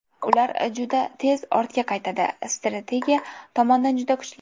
Ular juda tez ortga qaytadi, strategiya tomondan juda kuchli.